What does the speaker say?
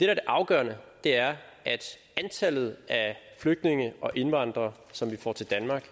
er det afgørende er at antallet af flygtninge og indvandrere som vi får til danmark